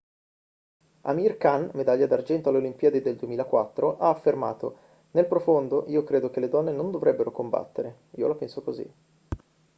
amir khan medaglia d'argento alle olimpiadi del 2004 ha affermato nel profondo io credo che le donne non dovrebbero combattere io la penso così